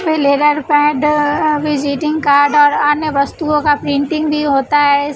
Pad visiting card और अन्य वस्तुओं का प्रिंटिंग भी होता है।